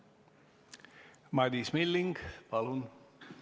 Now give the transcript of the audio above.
Madis Milling, palun!